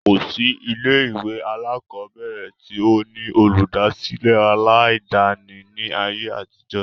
kò sí ilé ìwé àkọ́bẹ̀rẹ̀ tí ó ní Olùdásílẹ̀ aláàdáni ní ayé àtijọ́